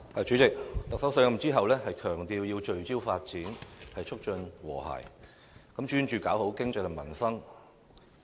主席，特首上任後強調要聚焦發展，促進和諧，專注經濟和民生。